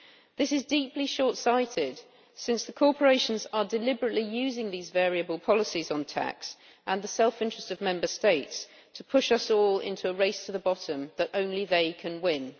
This is deeply short sighted, since the corporations are deliberately using these variable policies on tax and the self interest of Member States to push us all into a race to the bottom that only they can win.